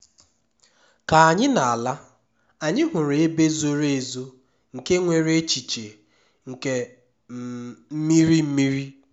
ka anyị na-ala anyị hụrụ ebe zoro ezo nke nwere echiche nke um mmiri mmiri